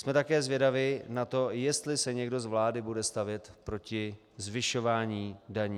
Jsme také zvědavi na to, jestli se někdo z vlády bude stavět proti zvyšování daní.